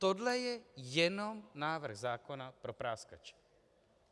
Tohle je jenom návrh zákona pro práskače.